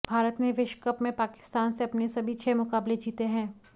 भारत ने विश्वकप में पाकिस्तान से अपने सभी छह मुकाबले जीते हैं